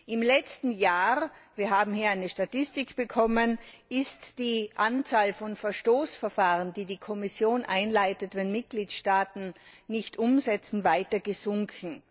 Im letzten Jahr wir haben hier eine Statistik bekommen ist die Anzahl von Verstoßverfahren, die die Kommission einleitet, wenn Mitgliedstaaten nicht umsetzen, weiter gesunken.